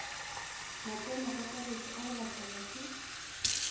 matsenokakaretšo a go latelwa ke